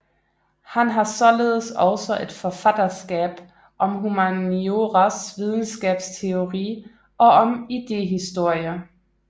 Han har således også et forfatterskab om humanioras videnskabsteori og om idéhistorie